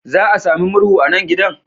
Za a sami murhu a nan gidan?